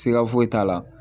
Siga foyi t'a la